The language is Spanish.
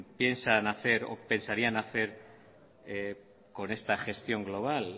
piensan hacer o lo que pensarían hacer con esta gestión global